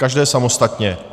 Každé samostatně.